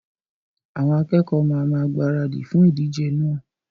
Àwọn akẹkọ̀ọ́ ma máa gbaradì fún ìdíjẹ náà.